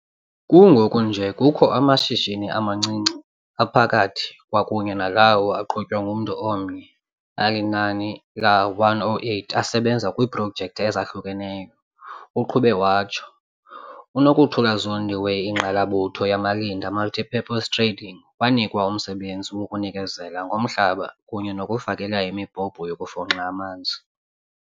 "Kungoku nje kukho amashishini amancinci, aphakathi kwakunye nalawo aqhutywa ngumntu omnye alinani la-108 asebenza kwiiprojekthi ezahlukeneyo," uqhube watsho. UNokuthula Zondi we-Ingqalabutho Yamalinda Multipurpose Trading wanikwa umsebenzi wokunikezela ngomhlaba kunye nokufakela imibhobho yokufunxa amanzi.